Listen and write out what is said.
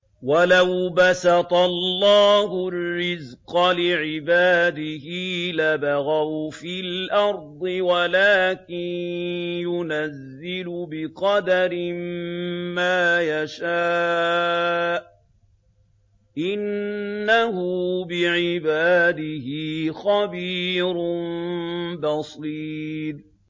۞ وَلَوْ بَسَطَ اللَّهُ الرِّزْقَ لِعِبَادِهِ لَبَغَوْا فِي الْأَرْضِ وَلَٰكِن يُنَزِّلُ بِقَدَرٍ مَّا يَشَاءُ ۚ إِنَّهُ بِعِبَادِهِ خَبِيرٌ بَصِيرٌ